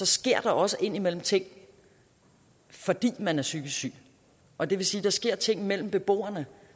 sker der også indimellem ting fordi man er psykisk syg og det vil sige at der sker ting mellem beboerne